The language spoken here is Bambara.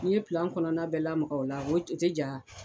N'i ye pilan kɔnɔnna bɛɛ lamaga o la o tɛ ja